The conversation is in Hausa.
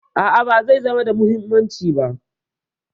A'a, ba zai zama da muhimmanci ba